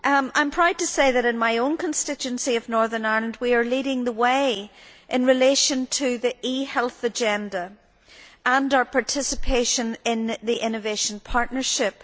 I am proud to say that, in my own constituency of Northern Ireland, we are leading the way in relation to the e health agenda and our participation in the innovation partnership.